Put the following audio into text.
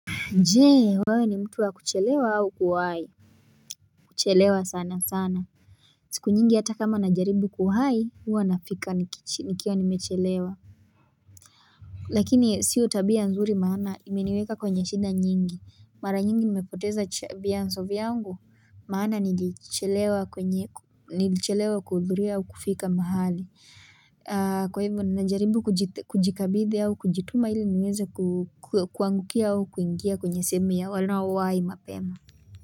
Jee wewe ni mtu wa kuchelewa au kuwai kuchelewa sana sana siku nyingi hata kama na jaribu kuwai huwa nafika nikiwa wa nimechelewa lakini sio tabia nzuri maana imeniweka kwenye shinda nyingi mara nyingi nimepoteza chabia vianzo vyangu maana nilichelewa kwenye nilichelewa kuhudhuri au kufika mahali kwa hivyo na jaribu kujikabithi au kujituma ili niweze kuangukia au kuingia kwenye sehemu ya wanao wahi mapema.